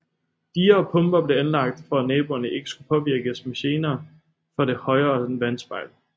Diger og pumper blev anlagt for at naboerne ikke skulle påvirkes med gener fra det højere vandspejl